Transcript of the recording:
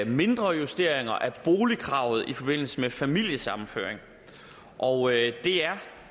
mindre justeringer af boligkravet i forbindelse med familiesammenføring og det er